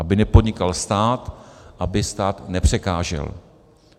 Aby nepodnikal stát, aby stát nepřekážel.